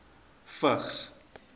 vigs